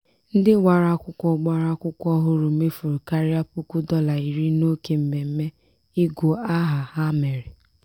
ndị gbara akwụkwọ gbara akwụkwọ ọhụrụ mefuru karịa puku dọla iri n'oke mmemme ịgụ aha ha mere.